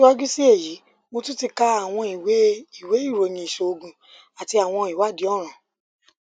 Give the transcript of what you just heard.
siwaju si eyi mo tun ti ka awọn iwe iwe iroyin iṣoogun ati awọn iwadii ọran